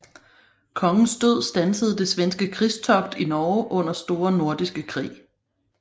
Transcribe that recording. Kongens død standsede det svenske krigstogt i Norge under Store Nordiske Krig